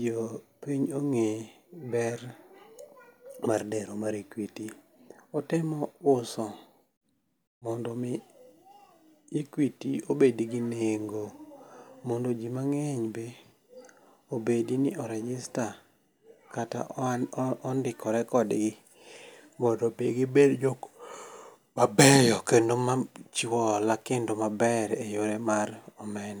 jopiny ong'e ber mar dero mar Equity. Otemo uso mondo mi Equity obed gi nengo mondo ji mang'eny be obed ni o rigister kata ondikore kodgi mondi mi gibed jok mabeyo kendo machiwo hola kendo maber e yore mar omenda.